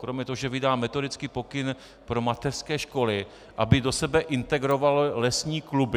Kromě toho, že vydá metodický pokyn pro mateřské školy, aby do sebe integrovalo lesní kluby.